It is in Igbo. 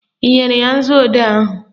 Ị nyere ya nzuodee ahụ?